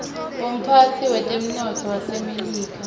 umphetsi wetemnotto wasemelika